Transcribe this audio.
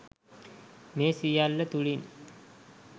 මේ සියල්ල තුළින්